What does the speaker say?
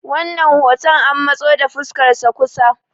wannan hoton an matso da fuskarsa kusa